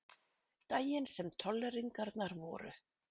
Daginn sem tolleringarnar voru.